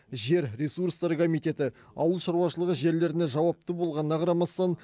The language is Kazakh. жер ресурстары комитеті ауыл шаруашылығы жерлеріне жауапты болғанына қарамастан